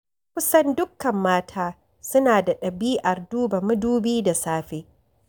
Kusan dukkan mata suna da ɗabi'ar duba madubi da safe.